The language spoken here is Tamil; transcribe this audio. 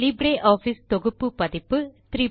லிப்ரியாஃபிஸ் தொகுப்பு பதிப்பு 334